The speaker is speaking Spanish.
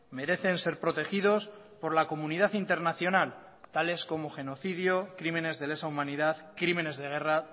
merecen ser protegidos por la comunidad internacional tales como genocidio crímenes de lesa humanidad crímenes de guerra